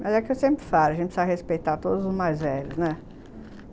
Mas é o que eu sempre falo, a gente precisa respeitar todos os mais velhos, né? Aham.